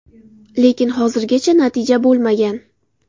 Lekin hozirgacha natija bo‘lmagan.